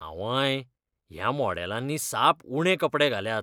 आंवंय! ह्या मॉडेलांनी साप उणे कपडे घाल्यात.